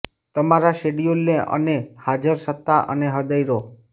તમારા શેડ્યૂલને અને હાજર સત્તા અને હૃદય દો